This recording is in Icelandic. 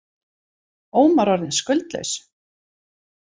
Ómar orðinn skuldlaus